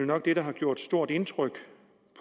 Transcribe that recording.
nok det der har gjort stort indtryk